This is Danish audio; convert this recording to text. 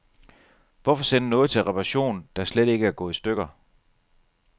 Hvorfor sende noget til reparation, der slet ikke er gået i stykker.